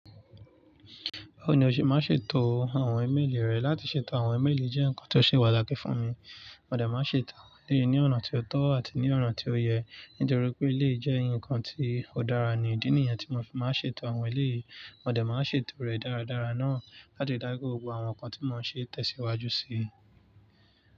Báwo ni o ṣe máa ń ṣètò àwọn ímeèlì rẹ? Láti ṣètò àwọn ímeèlì jẹ́ nǹkan tó ṣe patakì fún mi. Mo dẹ̀ máa ń ṣètò awon elèyí ní ọ̀nà tí ó tọ́ àti ní ọ̀nà tí ó yẹ, nítorí pé eleyí jẹ́ ǹkan tí ó dára ní. Idi nìyẹn tí mo fi máa ń ṣètò àwọn elèyí, mo dẹ̀ máa ń ṣètò rẹ̀ dáradára náà láti dá pe gbogbo àwọn ǹkan tí mo ṣe ń tẹ̀síwájú síi.